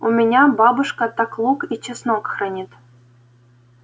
у меня бабушка так лук и чеснок хранит